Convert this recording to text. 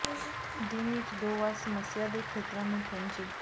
ਦਿਨ ਵਿੱਚ ਦੋ ਵਾਰ ਸਮੱਸਿਆ ਦੇ ਖੇਤਰਾਂ ਨੂੰ ਪੂੰਝੇ